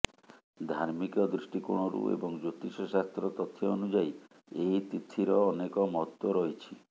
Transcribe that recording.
ଧାର୍ମିକ ଦୃଷ୍ଟି କୋଣରୁ ଏବଂ ଜ୍ୟୋତିଷ ଶାସ୍ତ୍ର ତଥ୍ୟ ଅନୁଯାୟୀ ଏହି ତିଥିର ଅନେକ ମହତ୍ତ୍ବ ରହିଛି